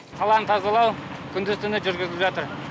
қаланы тазалау күндіз түні жүргізіліп жатыр